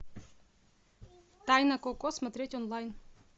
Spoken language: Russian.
тайна коко смотреть онлайн